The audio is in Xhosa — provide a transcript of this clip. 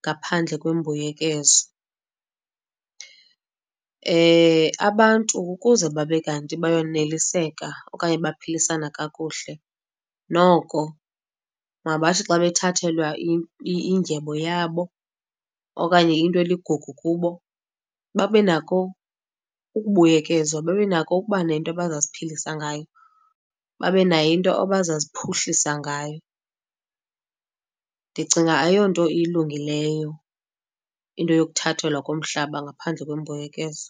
ngaphandle kwembuyekezo. Abantu ukuze babe kanti bayoneliseka okanye baphilisana kakuhle noko mabathi xa bethathelwa indyebo yabo, okanye into eligugu kubo babe nako ukubuyekezwa, babe nako ukuba nento bazawuziphilisa ngayo, babe nayo into abazawuziphuhlisa ngayo. Ndicinga ayonto ilungileyo into yokuthathelwa komhlaba ngaphandle kwembuyekezo.